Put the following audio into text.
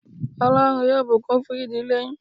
Ọlọ́run yóò bùkún fun ìdílé yín